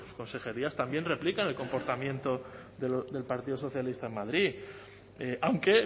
consejerías también replican el comportamiento del partido socialista en madrid aunque